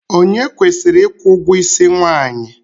Onye kwesịrị ịkwụ ụgwọisi nwaanyị?